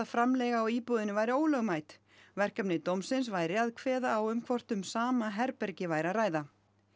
framleiga á íbúðinni væri ólögmæt verkefni dómsins væri að kveða á um hvort um sama herbergi væri að ræða